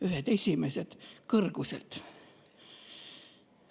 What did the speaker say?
Ühed esimesed!